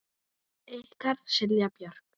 Ykkar Silja Björk.